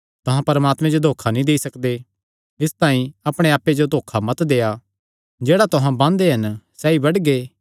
तुहां परमात्मे जो धोखा नीं देई सकदे इसतांई अपणे आप्पे जो धोखा मत देआ जेह्ड़ा तुहां बांदे हन सैई बड्डगे